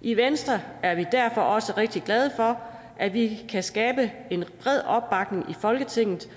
i venstre er vi derfor også rigtig glade for at vi kan skabe en bred opbakning i folketinget